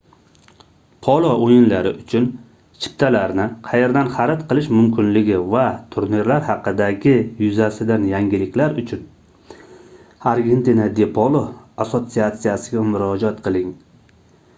polo oʻyinlari uchun chiptalarni qayerdan xarid qilish mumkinligi va turnirlar haqidagi yuzasidan yangiliklar uchun argentina de polo assotsiatsiyasiga murojaat qiling